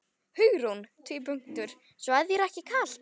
Hugrún: Svo þér er ekki kalt?